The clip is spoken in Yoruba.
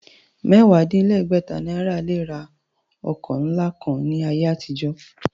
Mẹ́wàá-dín-légbẹ̀ta náírà lè ra ọkọ̀ ńlá kan ní ayé àtijọ́.